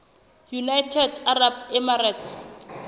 united arab emirates